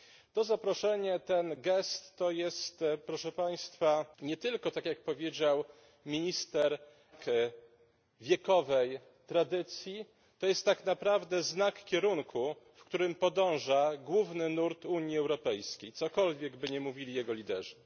To zaproszenie, ten gest, to jest, proszę Państwa, nie tylko tak jak powiedział minister Ayrault znak wiekowej tradycji, to jest tak naprawdę znak kierunku, w którym podąża główny nurt Unii Europejskiej, cokolwiek by nie mówili jego liderzy.